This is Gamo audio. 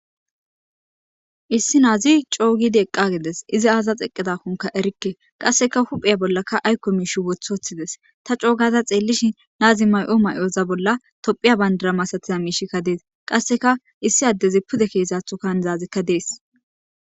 issi naazi coo gidi eqqagides izi aaza xeqqedakkonka erikke qasseka hupheya bollaka aykko miish wothoththides ta coogaza xeellishin naazi may7o may7oza bolla tophiya bandara masatiza miishikka dees qasseka issi addezi pude keesatho kaanzaazikka dees